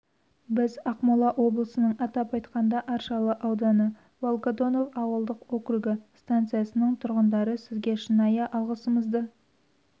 біз ақмола облысының атап айтқанда аршалы ауданы волгодонов ауылдық округі станциясының тұрғындары сізге шынайы алғыстарымызды